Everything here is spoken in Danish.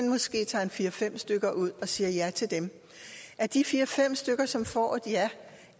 måske tager fire fem stykker ud og siger ja til dem af de fire fem stykker som får et ja